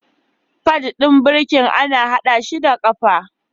Pad ɗin birki ana haɗa shi da ƙafa.